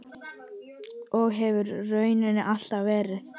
Og hefur raunar alltaf verið.